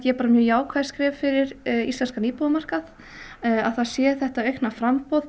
bara mjög jákvæð skref fyrir íslenskan íbúðamarkað að það sé þetta aukna framboð